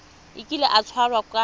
a kile a tshwarwa ka